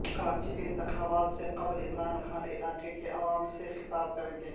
کراچی کےانتخابات سے قبل عمران خان علاقے کے عوام سے خطاب کریں گے